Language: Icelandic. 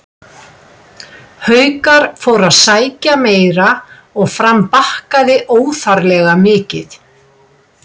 Haukar fóru að sækja meira og Fram bakkaði óþarflega mikið.